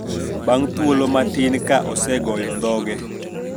Bang` thuolo matin ka osegoyo dhoge,